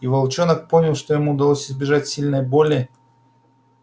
и волчонок понял что ему удалось избежать сильной боли